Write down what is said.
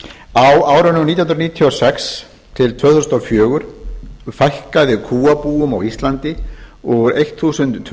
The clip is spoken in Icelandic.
á árunum nítján hundruð níutíu og sex til tvö þúsund og fjögur fækkaði kúabúum á íslandi úr tólf